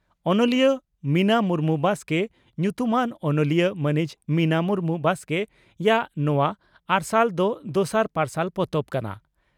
ᱚᱱᱚᱞᱤᱭᱟᱹ ᱢᱤᱱᱟ ᱢᱩᱨᱢᱩ (ᱵᱟᱥᱠᱮ) ᱧᱩᱛᱩᱢᱟᱱ ᱚᱱᱚᱞᱤᱭᱟᱹ ᱢᱟᱹᱱᱤᱡ ᱢᱤᱱᱟ ᱢᱩᱨᱢᱩ (ᱵᱟᱥᱠᱮ) ᱭᱟᱜ ᱱᱚᱣᱟ 'ᱟᱨᱥᱟᱞ' ᱫᱚ ᱫᱚᱥᱟᱨ ᱯᱟᱨᱥᱟᱞ ᱯᱚᱛᱚᱵ ᱠᱟᱱᱟ ᱾